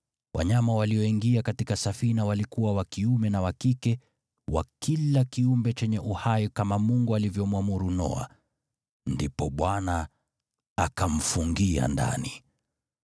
Wanyama walioingia katika safina walikuwa wa kiume na wa kike, wa kila kiumbe chenye uhai kama Mungu alivyomwamuru Noa, ndipo Bwana akamfungia ndani.